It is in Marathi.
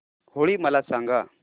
होळी मला सांगा